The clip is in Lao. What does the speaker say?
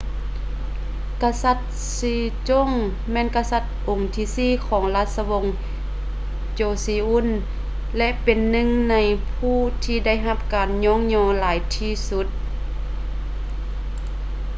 ກະສັດ sejong ແມ່ນກະສັດອົງທີສີ່ຂອງລາຊະວົງ joseon ແລະ ເປັນໜຶ່ງໃນຜູ້ທີ່ໄດ້ຮັບການຍ້ອງຍໍຫຼາຍທີ່ສຸດ